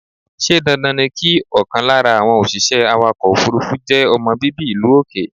Ṣé dandan ni kí ọkàn lára àwọn òṣìṣẹ́ awàkọ̀ òfúrúfú je ọmọ bíbí ìlú òkè?